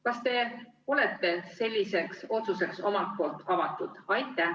Kas te ise olete selliseks otsuseks avatud?